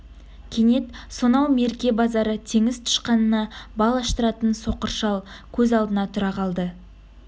кенет сонау мерке базары теңіз тышқанына бал аштыратын соқыр шал көз алдына тұра қалды